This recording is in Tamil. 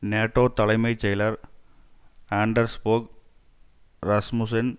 நேட்டோ தலைமை செயலர் ஆண்டர்ஸ் போக் ராஸ்முசென்